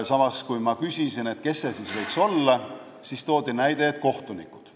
Samas, kui ma küsisin, kes need siis võiksid olla, toodi näiteks kohtunikud.